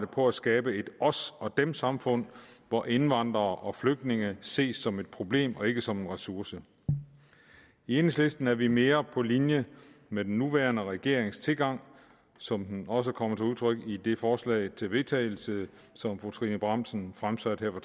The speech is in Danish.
på at skabe et os og dem samfund hvor indvandrere og flygtninge ses som et problem og ikke som en ressource i enhedslisten er vi mere på linje med den nuværende regerings tilgang som den også kommer til udtryk i det forslag til vedtagelse som fru trine bramsen fremsatte her